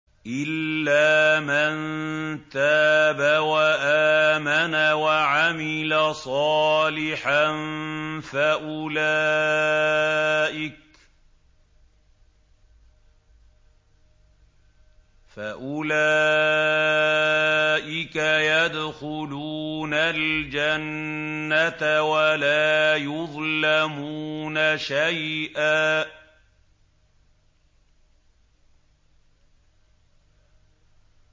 إِلَّا مَن تَابَ وَآمَنَ وَعَمِلَ صَالِحًا فَأُولَٰئِكَ يَدْخُلُونَ الْجَنَّةَ وَلَا يُظْلَمُونَ شَيْئًا